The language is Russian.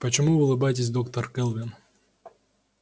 почему вы улыбаетесь доктор кэлвин